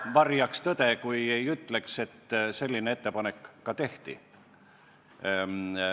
Ma varjaks tõde, kui ei ütleks, et selline ettepanek ka tehti.